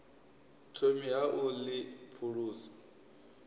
thomi ha u ḽi phulusa